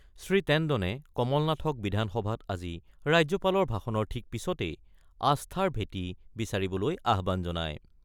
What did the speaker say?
শ্ৰীটেণ্ডনে কমল নাথক বিধানসভাত আজি ৰাজ্যপালৰ ভাষণৰ ঠিক পিছতেই আস্থাৰ ভেটি বিচাৰিবলৈ আহ্বান জনায়।